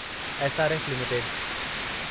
SRF limited